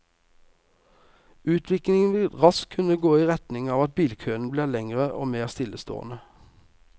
Utviklingen vil raskt kunne gå i retning av at bilkøene blir lengre og mer stillestående.